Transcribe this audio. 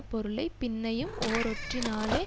பொருளை பின்னையும் ஓரொற்றினாலே